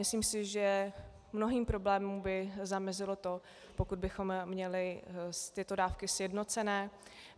Myslím si, že mnohým problémům by zamezilo to, pokud bychom měli ty dávky sjednocené.